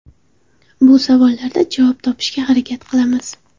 Bu savollarda javob topishga harakat qilamiz.